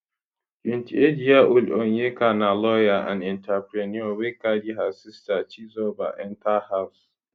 28yearold onyeka na lawyer and entrepreneur wey carry her sister chizoba enta house